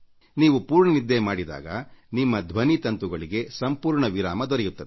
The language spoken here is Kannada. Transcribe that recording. ನೀವು ಪೂರ್ಣ ನಿದ್ದೆ ಮಾಡಿದಾಗ ನಿಮ್ಮ ಧ್ವನಿ ತಂತುಗಳಿಗೆ ಸಂಪೂರ್ಣ ವಿಶ್ರಾಂತಿ ದೊರೆಯುತ್ತದೆ